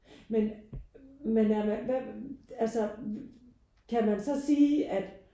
Men men er man altså kan man så sige at